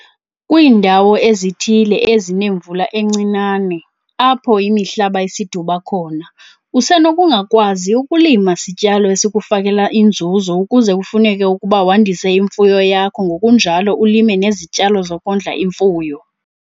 Kwiindawo ezithile ezinemvula encinane, apho imihlaba isidibi khona, usenokungakwazi ukulima sityalo esikufakela inzuzo ukuze kufuneke ukuba wandise imfuyo yakho ngokunjalo ulime nezityalo zokondla imfuyo.